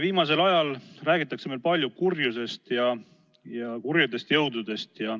Viimasel ajal räägitakse meil palju kurjusest ja kurjadest jõududest.